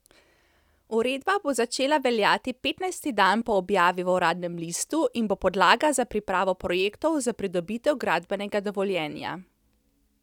Uredba bo začela veljati petnajsti dan po objavi v uradnem listu in bo podlaga za pripravo projektov za pridobitev gradbenega dovoljenja.